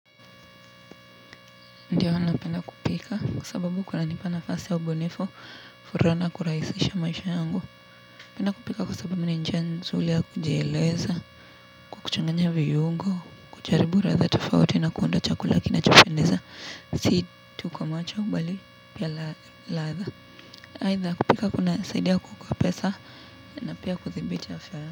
Ndio napenda kupika kwa sababu kunanipa nafasi ya ubunifu furaha na kurahisisha maisha yangu napenda kupika kwa sababu ni njia nzuri ya kujeleza, kwa kukuchanganya viungo, kujaribu ladha tofauti na kuunda chakula kinachopendeza si tu kwa macha bali pia ladha aidha, kupika kunasaidia kuokoa pesa na pia kudhibiti afya.